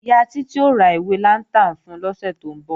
Ìyá Títí ó ra ìwé lantern fun lọ́sẹ̀ tó ń bọ̀